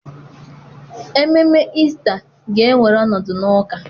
Ememe Ista ga-ewere ọnọdụ n'ụka.